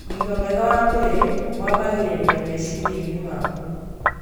Ũgima mwega wa mwĩrĩ wambagĩrĩria meciria-inĩ maku